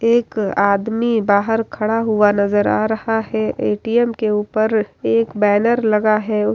एक आदमी बाहर खडा हुआ नजर आ रहा है ए.टी.एम. के ऊपर एक बैनर लगा है।